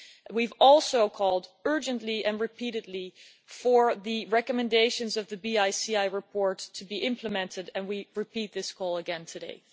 We have also called urgently and repeatedly for the recommendations of the BiCi report to be implemented, and we repeat this call again today.